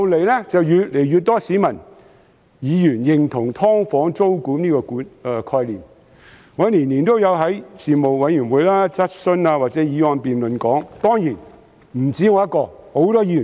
其後，越來越多市民和議員認同"劏房"租管這個概念。我每年都會在事務委員會、質詢或議案辯論中談論此事。